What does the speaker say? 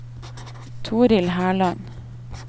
Torill Herland